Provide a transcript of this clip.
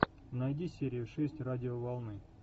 найди серию шесть радиоволны